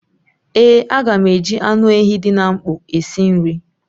Ee, a ga m eji anụ ehi dị na mkpọ esi nri